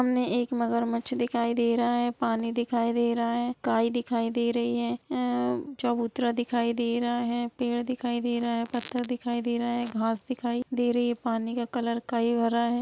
सामने एक मगरमच्छ दिखाई दे रहा है| पानी दिखाई दे रहा है| गाय दिखाई दे रही है| ए चबूतरा दिखाई दे रहा है| पेड़ दिख दे रहे है| पत्थर दिखाई दे रहे है| घास दिखाई दे रही है| पानी का कलर काई हो रहा है।